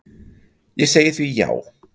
Ég segi því já.